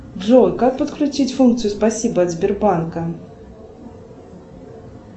джой как подключить функцию спасибо от сбербанка